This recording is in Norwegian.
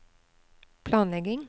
planlegging